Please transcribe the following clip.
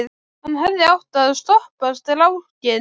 Hann hefði átt að stoppa strákinn.